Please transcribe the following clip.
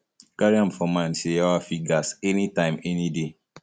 carry am for for mind sey yawa fit gas anytime any day